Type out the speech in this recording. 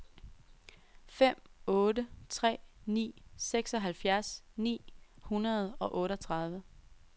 fem otte tre ni seksoghalvfjerds ni hundrede og otteogtredive